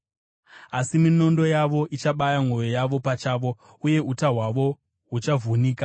Asi minondo yavo ichabaya mwoyo yavo pachavo, uye uta hwavo huchavhunika.